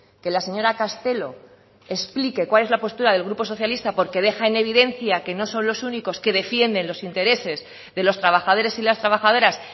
que la señora castelo explique cuál es la postura del grupo socialista porque deja en evidencia que no son los únicos que defienden los intereses de los trabajadores y las trabajadoras